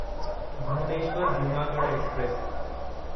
Bhubaneswar Junagadh express